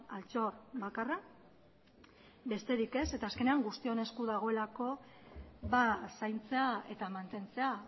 altxor bakarra besterik ez eta azkenean guztion esku dagoelako zaintzea eta mantentzea